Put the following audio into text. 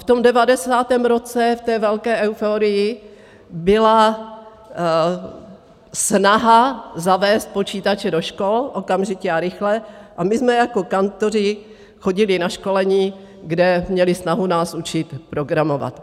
V tom 90. roce, v té velké euforii, byla snaha zavést počítače do škol, okamžitě a rychle, a my jsme jako kantoři chodili na školení, kde měli snahu nás učit programovat.